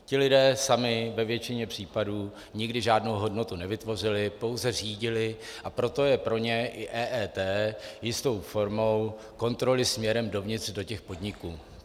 Ti lidé sami ve většině případů nikdy žádnou hodnotu nevytvořili, pouze řídili, a proto je pro ně i EET jistou formou kontroly směrem dovnitř do těch podniků.